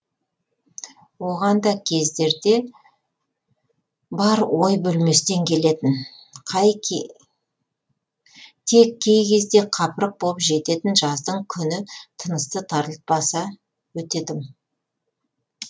оған да кездерде бар ой бөлместен келетін тек кей кезде қапырық боп жететін жаздың күні тынысты тарылтпаса өте тым